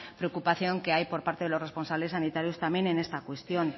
preocupación que hay por parte de los responsables sanitarios también en esta cuestión